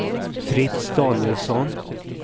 Fritz Danielsson